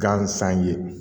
Gansan ye